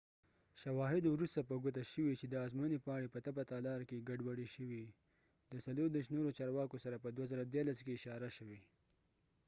شواهدو وروسته په ګوته شوي چې د ازموینې پاڼې په تپه تالار کې ګډوډي شوي، د 34 نورو چارواکو سره، په ۲۰۱۳ کې اشاره شوي